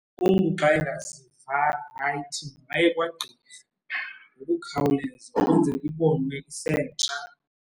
Umntu xa engaziva rayithi makaye kwagqirha ngokukhawuleza ukwenzela uba ibonwe isentsha.